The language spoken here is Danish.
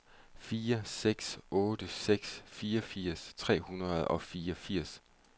fire seks otte seks fireogfirs tre hundrede og fireogfirs